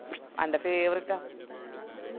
അന്റെ favourite